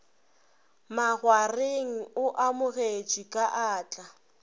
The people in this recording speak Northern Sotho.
makgwareng o amogetšwe ka atla